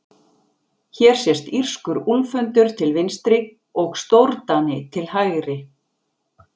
Hér sést írskur úlfhundur til vinstri og stórdani til hægri.